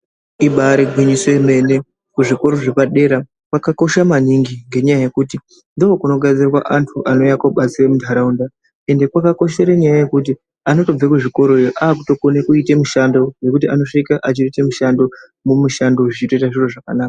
Ibari gwinyiso remene kuzvikora zvepadera kwakakosha maningi ngenyaya yekuti ndokunogadzirwa antu anouya kobatsira mundaraunda ende pakakoshera nyaya yekuti anobva kuzvikorayo akukona kuita mushando nekuti anosvika achiita mushando mumushando zviro zvoita zvakanaka.